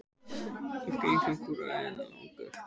Meðgöngutími kúariðu er langur.